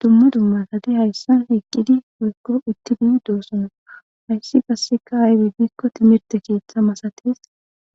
Dumma dummatati hayssan eqqidi goykko uttidi doosono hayssi qasseka aydi biikko timirte keeththa masates ,